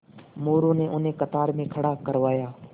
मोरू ने उन्हें कतार में खड़ा करवाया